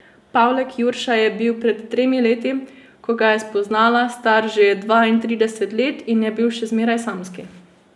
Pavlek Jurša je bil pred tremi leti, ko ga je spoznala, star že dvaintrideset let in je bil še zmeraj samski.